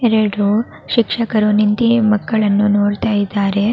ಎರಡು ಶಿಕ್ಷರು ನಿಂತಿ ಮಕ್ಕಳನ್ನು ನೋಡ್ತಾ ಇದ್ದಾರೆ .